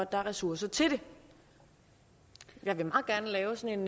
er ressourcer til det jeg vil meget gerne lave sådan